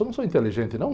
Eu não sou inteligente, não?